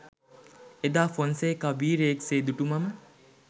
එදා ෆොන්සේකා වීරයෙක් සේ දුටු මම